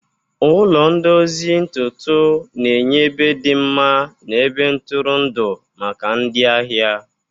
Ụlọ ndozi ntutu na-enye ebe dị mma na ebe ntụrụndụ maka ndị ahịa.